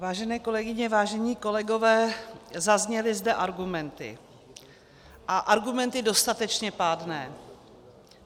Vážené kolegyně, vážení kolegové, zazněly zde argumenty, a argumenty dostatečně pádné.